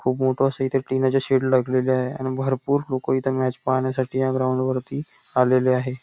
खूप मोठ अस इथे टीनाच शेड लागलेले आहेआणि भरपूर लोक इथे मॅच पाहण्यासाठी या ग्राउंड वरती आलेले आहे.